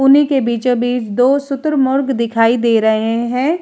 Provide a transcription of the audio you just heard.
उन्ही के बीचों बीच दो शुतुरमुर्ग दिखाई दे रहे हैं।